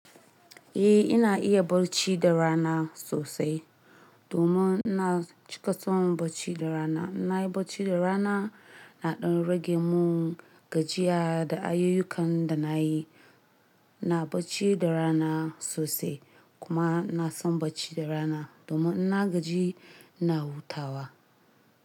Eh ina iya bacci da rana sosai. Domin ina cika son barci da rana. Na yi bacci da rana na ɗan rage mun gajiya da ayukakan da na yi. Na barci da rana sosai kuma na son barci da rana domin ina gaji ina hutawa.